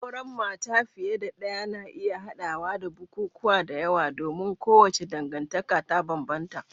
Auren mata fiye da ɗaya na iya haɗawa da bukukuwa da yawa domin kowace dangantaka ta bambanta.